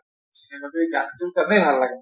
dance টোত এনেই ভাল লাগে